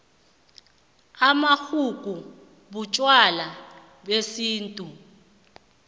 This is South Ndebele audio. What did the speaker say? amaxhugu butjwala besintu